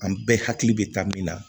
An bɛɛ hakili bɛ taa min na